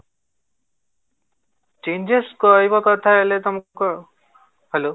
changes କହିବା କଥା ହେଲେ ତମକୁ hello